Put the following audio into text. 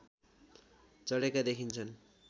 चढेका देखिन्छन्